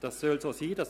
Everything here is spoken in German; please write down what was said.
Das soll so sein;